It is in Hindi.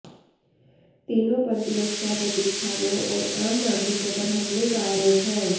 तीनों पर सुरक्षा प्रतिष्ठानों और आम नागरिकों पर हमले का आरोप है